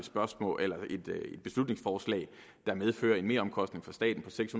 et beslutningsforslag der medfører en meromkostning for staten på seks